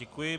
Děkuji.